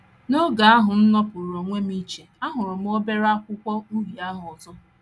N’oge ahụ m m nọpụụrụ onwe m iche, ahụrụ m obere akwụkwọ uhie ahụ ọzọ.